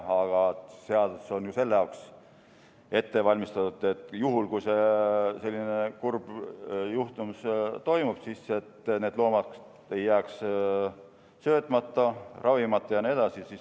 Aga selle jaoks on ju seadus ette valmistatud, et juhul, kui selline kurb juhtum toimub, siis need loomad ei jääks söötmata, ravimata ja nii edasi.